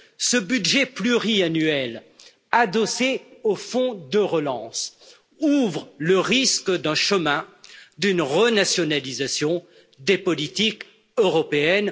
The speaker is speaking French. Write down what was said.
Ce budget pluriannuel, adossé au fonds de relance, ouvre le risque d'une renationalisation des politiques européennes.